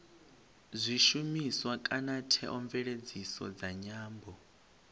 zwishumiswa kana theomveledziso dza nyambo